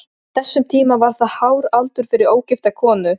Á þessum tíma var það hár aldur fyrir ógifta konu.